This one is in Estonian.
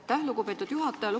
Aitäh, lugupeetud juhataja!